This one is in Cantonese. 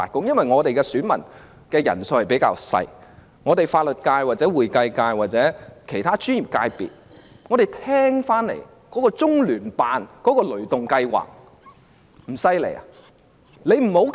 功能界別的選民人數較少，法律界、會計界或其他專業界別所聽到的中聯辦"雷動計劃"不厲害嗎？